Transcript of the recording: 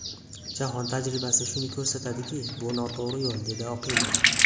Jahon tajribasi shuni ko‘rsatdiki, bu noto‘g‘ri yo‘l”, dedi Oqilov.